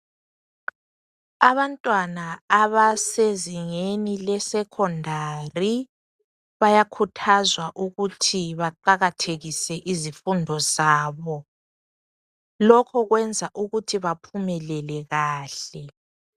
Abantwana abasezingeni lesekhondari bayakhuthazwa ukuqakathekisa izifundo zabo. Lokho kwenza ukuthi baphumelele kakhulu.